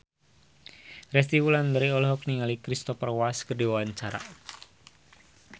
Resty Wulandari olohok ningali Cristhoper Waltz keur diwawancara